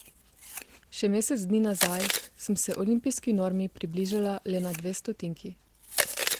Še mesec dni nazaj sem se olimpijski normi približala le na dve stotinki.